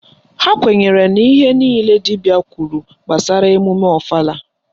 Ha kwenyere na ihe niile dibịa kwuru gbasara emume ọfala